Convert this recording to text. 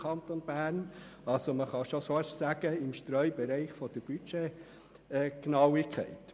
Es geht also schon fast um den Streubereich der Budgetgenauigkeit.